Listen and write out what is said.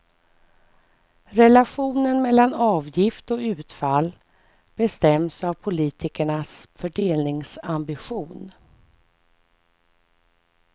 Relationen mellan avgift och utfall bestäms av politikernas fördelningsambition.